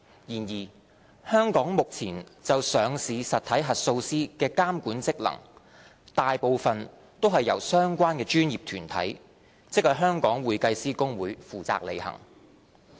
然而，香港目前就上市實體核數師的監管職能，大部分均由相關的專業團體，即香港會計師公會負責履行。